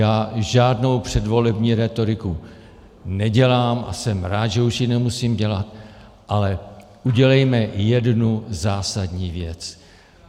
Já žádnou předvolební rétoriku nedělám a jsem rád, že už ji nemusím dělat, ale udělejme jednu zásadní věc.